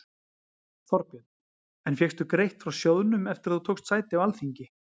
Þorbjörn: En fékkstu greitt frá sjóðnum eftir að þú tókst sæti á Alþingi?